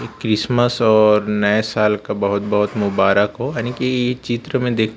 Christmas और नए साल का बहोत बहोत मुबारक हो यानि कि चित्र मे दे--